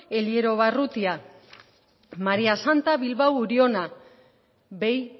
elierobarrutia maria santa bilbao uriona behi